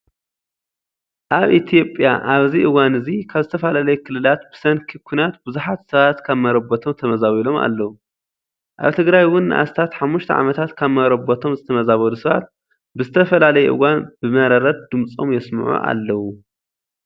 ኣብ ኢትዮጵያ ኣብዚ እዋን እዚ ካብ ዝተፈላለዩ ክልላት ብሰንኪ ኵናት ብዙሓት ሰባት ካብ መረበቶም ተመዛቢሎም ኣለው። ኣብ ትግራይ እውን ንኣስታት ሓሙሽተ ዓመታት ካብ መረበቶም ዝተመዛበሉ ሰባት ብዝተፈላለየ እዋን ብመረረት ድምፆም የስምዑ ኣለው።